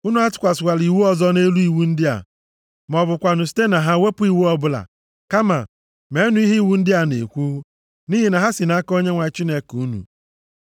Unu atụkwasịla iwu ọzọ nʼelu iwu ndị a, ma ọ bụkwanụ site na ha wepụ iwu ọbụla. Kama, meenụ ihe iwu ndị a na-ekwu, nʼihi na ha si nʼaka Onyenwe anyị Chineke unu.